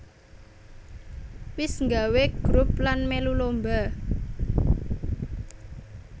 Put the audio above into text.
Wis nggawé grup lan mèlu lomba